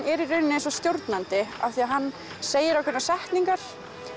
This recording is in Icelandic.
er í rauninni eins og stjórnandi af því að hann segir ákveðnar setningar